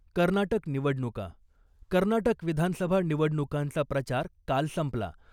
कर्नाटक निवडणुका कर्नाटक विधानसभा निवडणुकांचा प्रचार काल संपला .